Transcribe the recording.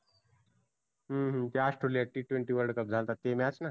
हम्म ते Austrelia T twenty world cup झालता ते match ना?